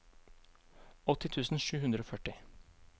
åtti tusen sju hundre og førti